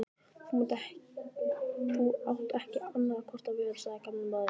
Þú átt ekki annarra kosta völ sagði gamli maðurinn.